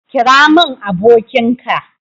kira mun abokin ka